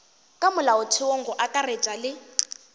ka molaotheong go akaretšwa le